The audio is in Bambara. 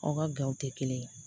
Aw ka gawo tɛ kelen ye